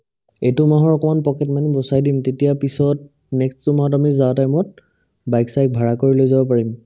এইটো মাহৰ অকমান pocket money বচাই দিম তেতিয়া পিছত next টো মাহত আমি যাৱা time ত bike চাইক ভাৰা কৰি লৈ যাব পাৰিম ।